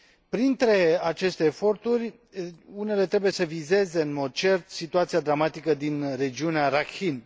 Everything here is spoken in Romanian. Printre aceste eforturi, unele trebuie să vizeze, în mod cert, situația dramatică din regiunea Rakhine.